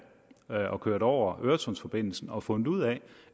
og er kørt over øresundsforbindelsen og har fundet ud af